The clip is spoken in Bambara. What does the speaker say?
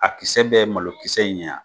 A kisɛ bɛ ye malo kisɛ in ɲɛ wa?